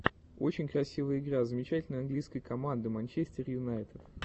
очень красивые игра замечательный английской команды манчестер юнайтед